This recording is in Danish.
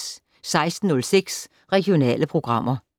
16:06: Regionale programmer